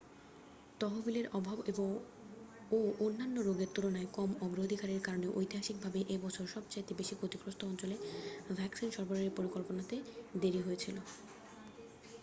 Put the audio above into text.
তহবিলের অভাব ও অন্যান্য রোগের তুলনায় কম অগ্রাধিকারের কারণে ঐতিহাসিকভাবে এ বছর সবচেয়ে বেশি ক্ষতিগ্রস্থ অঞ্চলে ভ্যাকসিন সরবরাহের পরিকল্পনাতে দেরি হয়েছিল